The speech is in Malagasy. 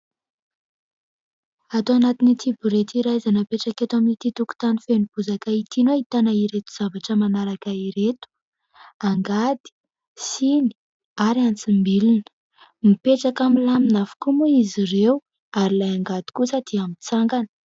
Atao anatin'ity borety iray izay napetraka eto amin'ity tokotany feno bozaka ity noa ahitana ireto zavatra manaraka ireto : angady, siny ary antsimbilona. Mipetraka milamina avokoa moa izy ireo ary ilay angady kosa dia mitsangana.